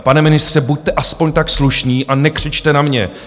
Pane ministře, buďte alespoň tak slušný a nekřičte na mě.